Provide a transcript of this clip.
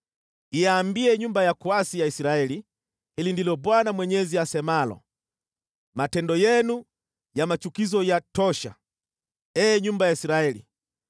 Iambie nyumba ya kuasi ya Israeli, ‘Hili ndilo Bwana Mwenyezi asemalo: Matendo yenu ya machukizo yatosha, ee nyumba ya Israeli!